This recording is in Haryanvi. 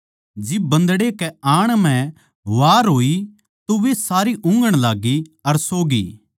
जिब बन्दड़े कै आण म्ह वार होई तो वे सारी ऊँघण लाग्गी अर सो गी